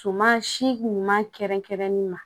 Suman si ɲuman kɛrɛnkɛrɛnnen ma